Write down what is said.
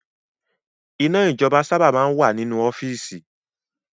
Iná ijọba sábà máa ń wà nínú ọ́fíìsì